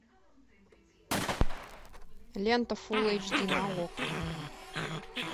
лента фулл эйч ди на окко